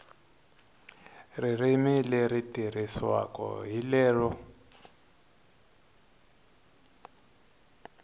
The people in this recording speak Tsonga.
ririmi leri tirhisiwaka hi lero